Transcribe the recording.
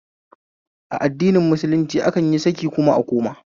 A addinin musulunci akan yi saki kuma a koma